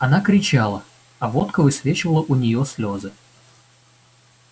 она кричала а водка высвечивала у неё слезы